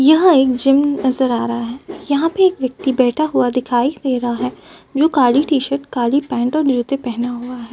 यहा एक जिम नजर आ रहा है। यहां पे एक व्यक्ति बैठा हुआ दिखाई दे रहा है जो काली टी-शर्ट काली पैन्ट और जूते पहना हुआ है।